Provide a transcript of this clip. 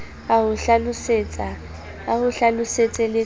a ho hlalosetse le ka